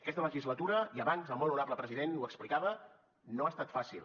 aquesta legislatura i abans el molt honorable president ho explicava no ha estat fàcil